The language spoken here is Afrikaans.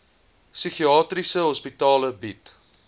psigiatriese hospitale bied